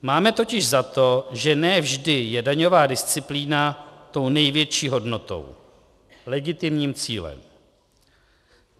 Máme totiž za to, že ne vždy je daňová disciplína tou největší hodnotou - legitimním cílem.